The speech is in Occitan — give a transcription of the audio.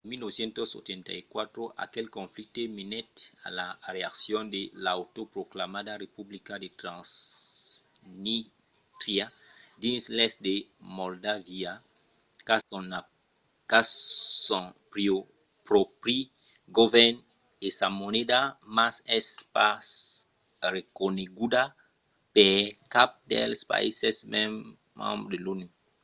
en 1994 aquel conflicte menèt a la creacion de l'autoproclamada republica de transnístria dins l'èst de moldàvia qu'a son pròpri govèrn e sa moneda mas es pas reconeguda per cap dels païses membres de l'onu